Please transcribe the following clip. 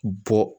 Bɔ